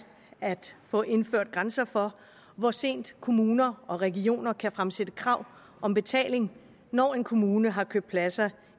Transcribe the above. at få indført grænser for hvor sent kommuner og regioner kan fremsætte krav om betaling når en kommune har købt pladser